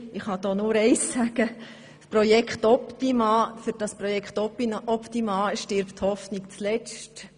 Für das Projekt Optima stirbt nun die Hoffnung zuletzt.